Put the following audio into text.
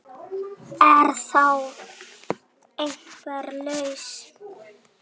Er þá einhver lausn